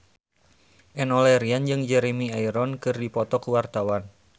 Enno Lerian jeung Jeremy Irons keur dipoto ku wartawan